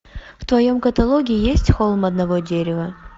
в твоем каталоге есть холм одного дерева